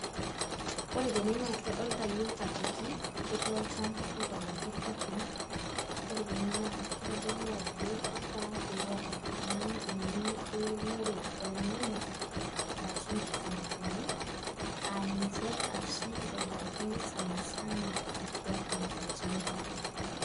Ore tene naa kitodolita iyiook ajoki ketii olchamba oitobiraki irrwarrin, ore tene naa kitodolu ajo ifaa pee iyata oltung'ani eng'eno eunore olnyanya o enkitunguuni aa ninche oshi itobirakini irrwarrin tolchamba.